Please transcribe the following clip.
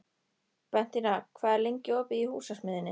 Bentína, hvað er lengi opið í Húsasmiðjunni?